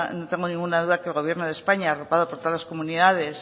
no tengo ninguna duda que el gobierno de españa arropado por todas las comunidades